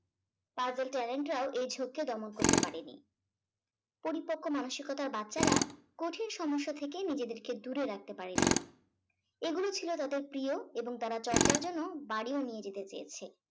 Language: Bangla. Puzzle talent রাও এই দমন করতে পারেনি। পরিপক্ক মানসিকতার বাচ্চারা কঠিন সমস্যা থেকে নিজেদেরকে দূরে রাখতে পারেনি এগুলো ছিল তাদের প্রিয় এবং তারা চর্চার জন্য বাড়িও নিয়ে যেতে চেয়েছে।